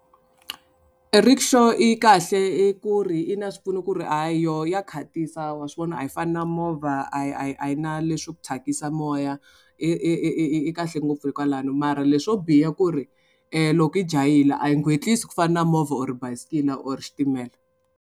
E rikshaw i kahle i ku ri i na swipfuno ku ri hayi yoho ya khatisa wa swi vona a yi fani na movha a yi a yi a yi na leswi ku thyakisa moya i i i i i kahle ngopfu hi kwalano mara leswo biha ku ri loko i jahile a yi gwetlisi ku fana na movha or bayisikile or xitimela.